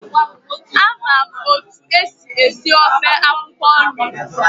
Ama m otu esi esi ofe akwụkwọ nri.